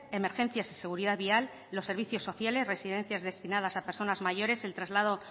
emergencias y seguridad vial los servicios sociales residencias destinadas a personas mayores el traslado